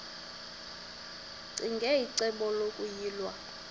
ccinge icebo lokuyilwa